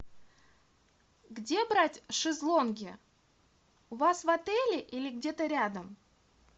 где брать шезлонги у вас в отеле или где то рядом